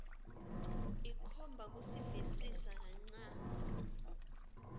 ikhomba kusivisisa kancane